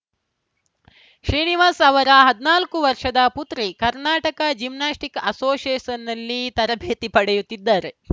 ಶ್ರೀನಿವಾಸ್‌ ಅವರ ಹದನಾಲ್ಕು ವರ್ಷದ ಪುತ್ರಿ ಕರ್ನಾಟಕ ಜಿಮ್ನಾಸ್ಟಿಕ್‌ ಅಸೋಸಿಯೇಷನ್‌ನಲ್ಲಿ ತರಬೇತಿ ಪಡೆಯುತ್ತಿದ್ದರು